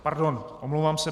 Pardon, omlouvám se.